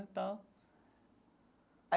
E tal.